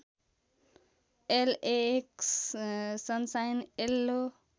LAX sunshine yellow